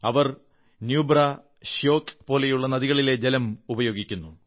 അവർ ന്യൂബ്രാ ശ്യോക് നുബ്ര ഷ്യോക്ക് പോലുള്ള നദികളിലെ ജലം ഉപയോഗിക്കുന്നു